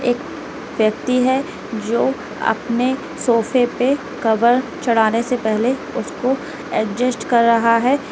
एक व्यक्ति है जो अपने सोफे पे कवर चढ़ाने से पहले उसको अडजस्ट कर रहा है।